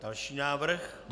Další návrh.